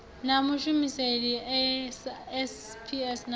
na mashumisele a sps na